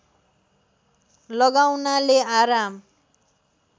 लगाउनाले आराम